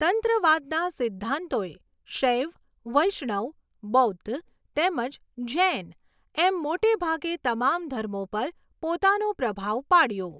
તંત્રવાદના સિદ્ધાંતોએ શૈવ, વૈષ્ણવ, બૌદ્ધ તેમજ જૈન એમ મોટેભાગે તમામ ધર્મો પર પોતાનો પ્રભાવ પાડ્યો.